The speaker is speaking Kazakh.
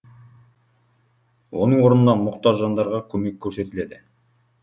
оның орнына мұқтаж жандарға көмек көрсетіледі